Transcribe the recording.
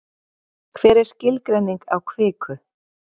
Hver er skilgreining á kviku?